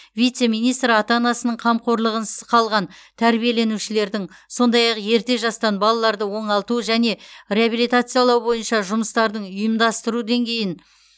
вице министр ата анасының қамқорлығынсыз қалған тәрбиеленушілердің сондай ақ ерте жастан балаларды оңалту және реабилитациялау бойынша жұмыстардың ұйымдастырылу деңгейін